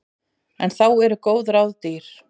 En þá eru góð ráð dýr.